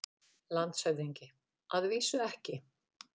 LANDSHÖFÐINGI: Að vísu ekki.